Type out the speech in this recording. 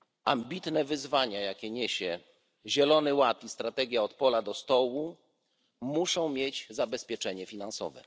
Ambitne wyzwania, jakie niesie Europejski Zielony Ład i strategia od pola do stołu muszą mieć zabezpieczenie finansowe.